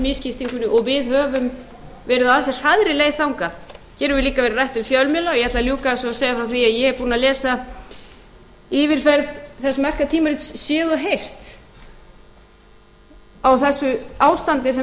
misskiptingunni og við höfum verið á ansi hraðri leið þangað hér hefur líka verið rætt um fjölmiðla ég ætla að ljúka þessu og segja frá því að ég er búin að lesa yfir það merka tímarit séð og heyrt á þessu ástandi sem